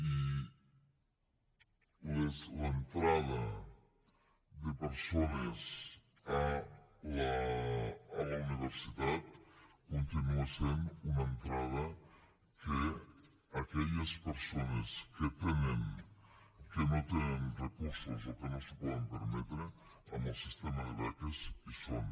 i l’entrada de persones a la universitat continua sent una entrada en què aquelles persones que no tenen recursos o que no s’ho poden permetre amb el sistema de beques hi són